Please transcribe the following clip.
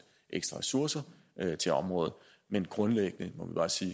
ekstra ressourcer til området men grundlæggende må vi bare sige